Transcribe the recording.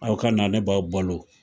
Aw ka na ne b'aw balo,